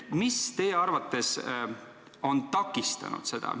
Mis teie arvates on seda takistanud?